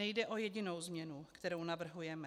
Nejde o jedinou změnu, kterou navrhujeme.